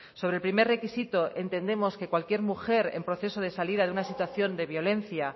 sobre el primer requisito entendemos que cualquier mujer en proceso de salida de una situación de violencia